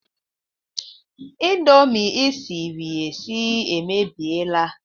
Indomi ị siri esie emebiela